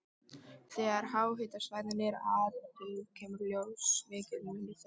Þegar háhitasvæðin eru athuguð kemur í ljós mikill munur þeirra.